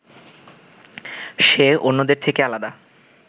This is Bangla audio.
সে অন্যদের থেকে আলাদা